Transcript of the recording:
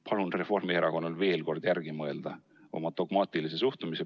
Palun Reformierakonnal veel kord kaaluda oma dogmaatilist suhtumist.